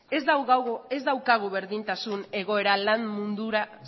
ez daukagu berdintasun egoera lan mundura